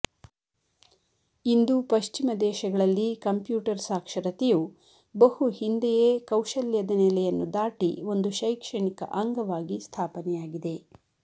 ಇಂದು ಪಶ್ಚಿಮ ದೇಶಗಳಲ್ಲಿ ಕಂಪ್ಯೂಟರ್ ಸಾಕ್ಷರತೆಯು ಬಹುಹಿಂದೆಯೇ ಕೌಶಲ್ಯದ ನೆಲೆಯನ್ನು ದಾಟಿ ಒಂದು ಶೈಕ್ಷಣಿಕ ಅಂಗವಾಗಿ ಸ್ಥಾಪನೆಯಾಗಿದೆ